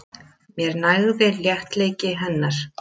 Mér nægði léttleiki hennar.